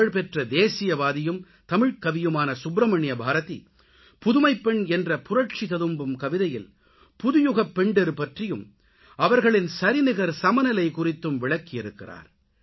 புகழ்பெற்ற தேசியவாதியும் தமிழ்க்கவியுமான சுப்ரமணிய பாரதி புதுமைப்பெண் என்ற புரட்சி ததும்பும் கவிதையில் புதுயுகப்பெண்டிர் பற்றியும் அவர்களின் சரிநிகர் சமநிலை குறித்தும் விளக்கி இருக்கிறார்